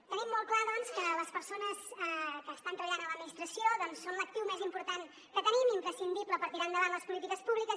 tenim molt clar doncs que les persones que estan treballant a l’administració són l’actiu més important que tenim imprescindible per tirar endavant les polítiques públiques